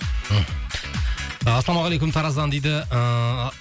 ассалаумағалейкум тараздан дейді ыыы